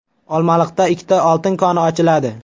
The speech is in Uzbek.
Olmaliqda ikkita oltin koni ochiladi.